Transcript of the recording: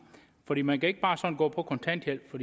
fordi man ikke bare sådan kan gå på kontanthjælp for